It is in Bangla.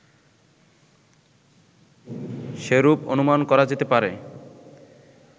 সেরূপ অনুমান করা যেতে পারে